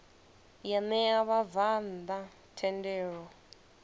ya ṋea vhabvann ḓa thendelo